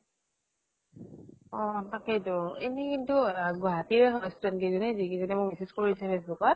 অ । তাকেইতো এনেই কিন্তু গুৱাহাটীৰে student কেইজ্নী, যি কেইজনী মোক message কৰিছিল group ত